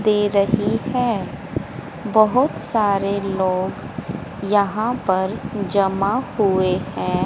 दे रही है बहोत सारे लोग यहां पर जमा हुए हैं।